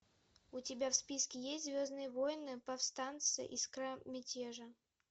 у тебя в списке есть звездные войны повстанцы искра мятежа